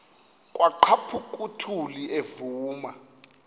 kwaqhaphuk uthuli evuma